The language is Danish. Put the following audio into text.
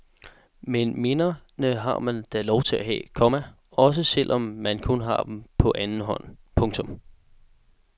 Men minderne har man da lov at have, komma også selv om man kun har dem på anden hånd. punktum